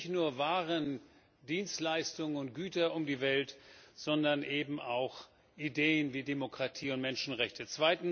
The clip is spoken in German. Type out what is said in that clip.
Sie bringt nicht nur Waren, Dienstleistungen und Güter um die Welt, sondern eben auch Ideen wie Demokratie und Menschenrechte.